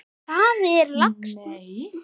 Svo er það laxinn.